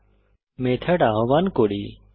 এখন মেথড আহ্বান করি